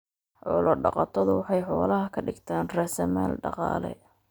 Xoolo dhaqatadu waxay xoolaha ka dhigtaan raasamaal dhaqaale.